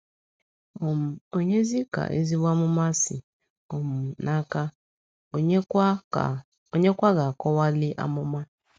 um Ònyezi ka ezigbo amụma si um n’aka, ònyekwa ga - akọwali amụma?